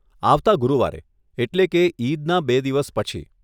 આવતાં ગુરુવારે, એટલે કે ઈદના બે દિવસ પછી.